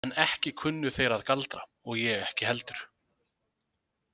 En ekki kunnu þeir að galdra og ég ekki heldur.